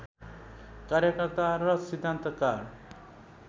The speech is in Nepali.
कार्यकर्ता र सिद्धान्तकार